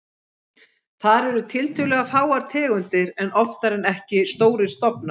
Þar eru tiltölulega fáar tegundir en oftar en ekki stórir stofnar.